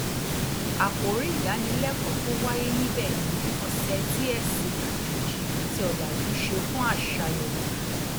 àkòrí ìdánilẹkọọ tó wáyé níbẹ̀ ni ọsẹ tí ẹ̀sìn àjòjì àti ọ̀làjú ṣe fún àṣà yorùbá